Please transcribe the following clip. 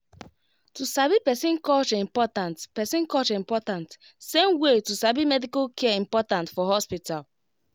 to sabi person culture important person culture important same way to sabi medical care important for hospital